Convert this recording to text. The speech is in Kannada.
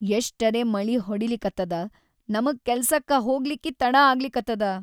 ಎಷ್ಟರೇ ಮಳಿ ಹೊಡಿಲಿಕತ್ತದ ನಮಗ್‌ ಕೆಲ್ಸಕ್ಕ ಹೋಗ್ಲಿಕ್ಕಿ ತಡಾ ಆಗ್ಲಿಕತ್ತದ.